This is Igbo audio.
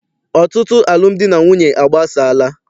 Ọtụtụ alụmdi na nwunye agbasaala.